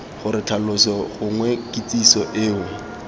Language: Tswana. gore tlhaloso gongwe kitsiso eo